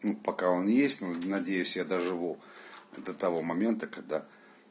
ну пока он есть но надеюсь я доживу до того момента когда